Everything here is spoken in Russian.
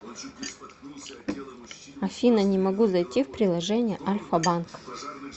афина не могу зайти в приложение альфа банк